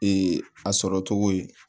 a sɔrɔ cogo ye